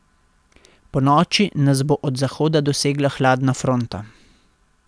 Ponoči nas bo od zahoda dosegla hladna fronta.